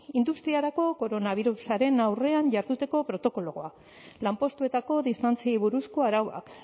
industriarako koronabirusaren aurrean jarduteko protokoloa lanpostuetako distantziei buruzko arauak